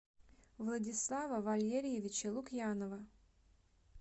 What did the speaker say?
владислава валерьевича лукьянова